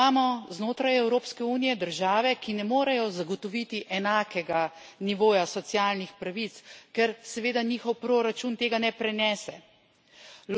Prav tako imamo znotraj Evropske unije države, ki ne morejo zagotoviti enakega nivoja socialnih pravic, ker seveda njihov proračun tega ne prenese.